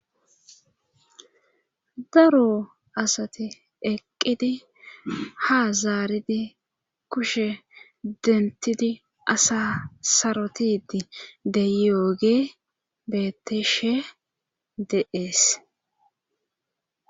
Daro asati eqqidi ha zaaridi kushe dentidi asa sarotidi de yooge beeteshe de7ees